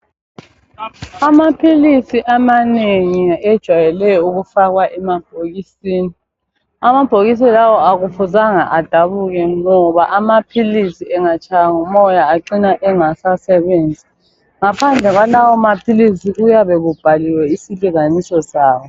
Amaphilisi amanengi ejwayele ukufakwa emabhokisini. Amabhokisi lawa akufuzanga adabuke ngoba amaphiliisi engatshaywa ngumoya acina engasasebenzi. Ngaphandle kwalawa maphilisi kuyabe kubhaliwe isilinganiso sawo.